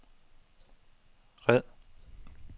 red